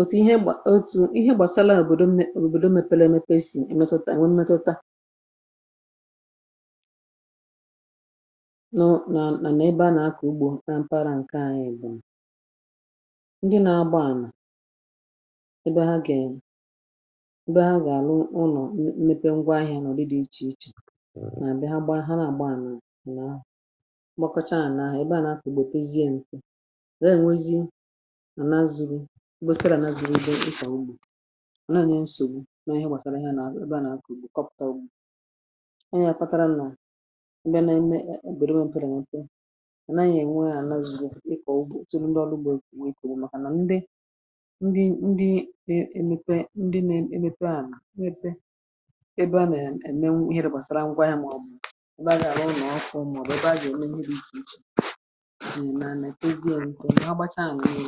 Òtù ihe gbà otu̇, ihe gbàsaala òbòdo m. Òbòdo mepèlè, mepè, esì èmetutà, nwè emetutà, nọ̀ nà nà. Ebe a nà-akọ̀ ugbȯ na mpara ǹke à, ya bụ̀, ndị nȧ-agba ànà, ebe ha gà, ebe ha gà-àrụ ụnọ̀. Mmepe ngwa ahịȧ nọ̀, ọ̀ dị, dị̇ ichè ichè. Nà àbịa, ha gba, ha ra àgba ànà nà nà, na zuru̇ mgbasara, nà zuru̇ bụ. Ịkọ̀ ugbȯ nà à nà nà nsogbu nà ihe gbàtara, ihe nà ebe à nà kọpụ̀ta ugbȯ. Ịnyà fàtara, nà ndịà nà-eme, è, èbèrèwe, mpere nà nte. À nà ànyị ènwe ya, nà azùga ịkọ̀ ugbȯ. Etoro ndị ọrụ ugbȯ. Nkwụ, èkògbu, màkà nà ndị, ndị e ebepe. Ndị na-eme ebepe, à nà ebe, ebe a nà-emenwu ihe rụgbasara ngwa ya, màọ̀bụ̀ ebe a ga-àra ụmụ̀ oso, ụmụ̀ bụ̀be. A jì omen, ya dị ichè ichè ǹkè ha gbacha à nọ̀. Ihe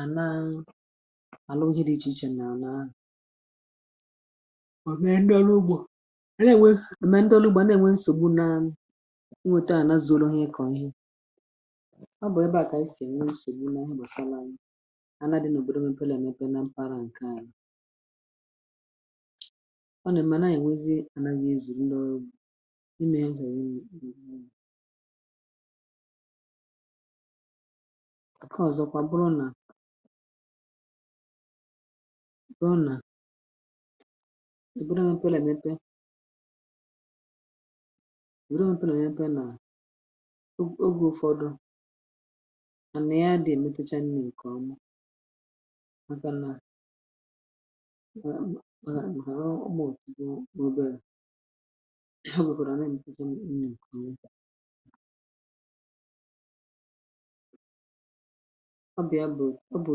à naa, à nọ̀. Ihe dị ichè ichè nà à naa à ò mee. Ndị ọrụ ugbȯ à na-ènwe, à mèe. Ndị ọrụ ugbȧ na-ènwe nsògbu, nà nwòto. À na zoro ihe, ịkọ̀ ihe. Ọ bụ̀ ebe à kà isì ènwe. Nà m bàsa na anà, dị̇ n’òbodò m. Emepe, nà èmepe nà mpaara ǹkè, anà m na-ènwezi. Anaghị ezù ndị ọrụ. Imė ihe ònwù àkà, ọzọkwa. Bụrụ nà, bụrụ nà, s, sụbụrụ, m̀pe nà m̀pe. Bụrụ m̀pe nà m̀pe. Nà ogè ụfọdụ, à nà ya dị. Èmetucha nni ǹkèọma, màkà nà, màkà m ghàrà. Umù bụ mobail. Ya wepụrụ, àna èmetucha nni ǹkèọma. Ọ bụ ya bụ, ọ bụ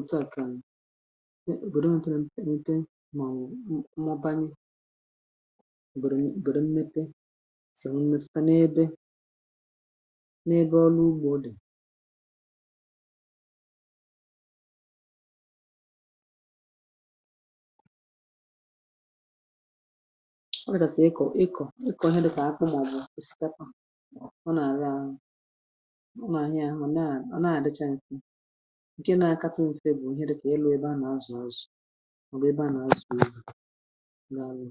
òtù a kànị. Nà òbòdò nà tụrụ mpe mpe, màọwụ̀. M, mọbanye òbòdò nà òbòdò mmepe. Sàọ́rọ̀ m̀mịmị taa, n’ebe, n’ebe ọlụ ugbȯ dị̀. Ọ bụrụ nà, sì, ịkọ̀, ịkọ̀ ike. Onye dịkà akpụ, màọbụ̀ kà siṭpa ǹkè, na-akata m̀fe. Bụ̀ òhèrè, kà ịlụ̇. Ebe a na-azụ̀ azụ̀, ọ̀ bụ̀ ebe a na-asụ̀ izù nà àlụ̀.